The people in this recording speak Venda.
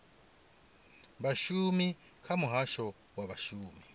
vhashumi kha muhasho wa vhashumi